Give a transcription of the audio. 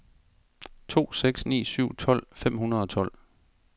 to seks ni syv tolv fem hundrede og tolv